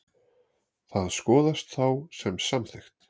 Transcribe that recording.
Það skoðast þá sem samþykkt.